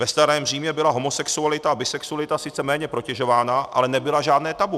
Ve starém Římě byla homosexualita a bisexualita sice méně protežována, ale nebyla žádné tabu.